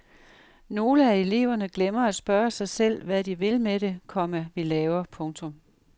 Nogle af eleverne glemmer at spørge sig selv hvad vi vil med det, komma vi laver. punktum